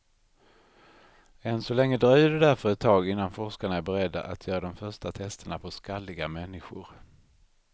Än så länge dröjer det därför ett tag innan forskarna är beredda att göra de första testerna på skalliga människor.